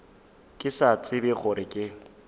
ke sa tsebe gore ke